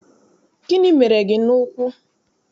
Gịnị mere gị n'ụkwụ?